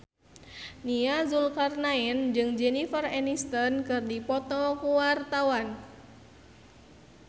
Nia Zulkarnaen jeung Jennifer Aniston keur dipoto ku wartawan